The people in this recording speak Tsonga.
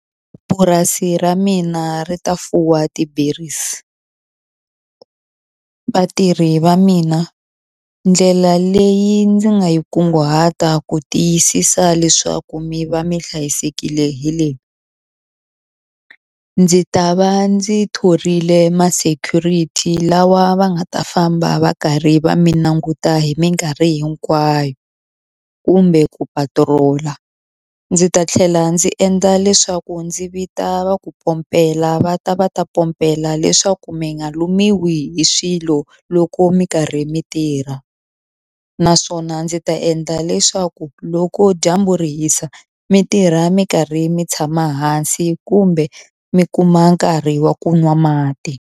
Purasi ra mina ri ta fuwa ti-berries vatirhi va mina ndlela leyi ndzi nga yi kunguhata ku tiyisisa leswaku mi va mi hlayisekile hi le ndzi ta va ndzi thorile ma-security lawa va nga ta famba va karhi va mi languta hi minkarhi hinkwayo kumbe ku patrol-a ndzi ta tlhela ndzi endla leswaku ndzi vita va ku pompela va ta va ta pompela leswaku mi nga lumiwa hi swilo loko mi karhi mi tirha naswona ndzi ta endla leswaku loko dyambu ri hisa mi tirha mi karhi mi tshama hansi kumbe mi kuma nkarhi wa ku nwa mati.